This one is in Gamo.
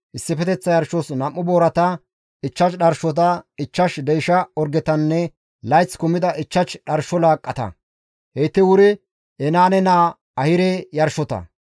issifeteththa yarshos 2 boorata, 5 dharshota, 5 deysha orgetanne layth kumida 5 dharsho laaqqata; heyti wuri Enaane naa Ahire yarshota.